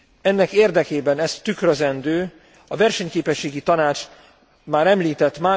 Ennek érdekében, ezt tükrözendő a Versenyképességi Tanács már említett